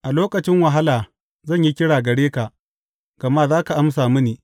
A lokacin wahala zan yi kira gare ka, gama za ka amsa mini.